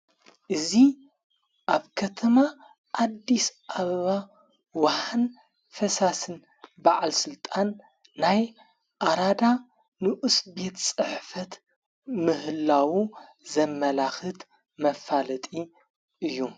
እዙ ኣብ ከተማ ዓዲስ ኣኣብባ ወሓን ፈሳስን በዓል ሥልጣን ናይ ኣራዳ ንኡስ ቤት ጽሕፈት ምህላዉ ዘመላኽት መፋለጢ እዩ።